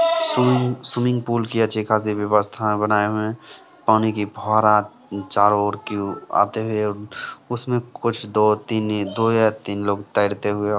swimming swimming pool की अच्छी खासी व्यवस्था में बनाए हुए हैं पानी की फुव्वारा चारों ओर की ओर आते हुए उसमें कुछ दो-तीन दो या तीन लोग तैरते हुए --